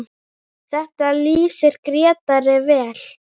Þetta lýsir Grétari vel.